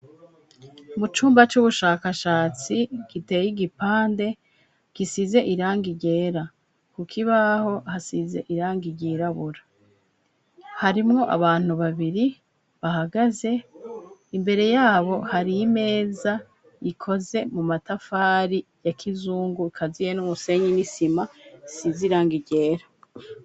Mu cumba c'ubushakashatsi giteye igipande gisize iranga ryera, kuko ibaho hasize iranga iryirabura harimwo abantu babiri bahagaze imbere yabo hariyo imeza ikoze mu matafari ya kizungu kaza ye niumusenyi nisima sizirang irera.